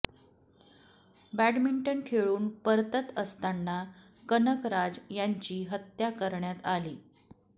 badminton खेळून परतत असताना कनकराज यांची हत्या करण्यात आली